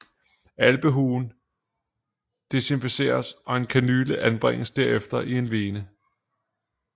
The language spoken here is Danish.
Albuehulen desinficeres og en kanyle anbringes derefter i en vene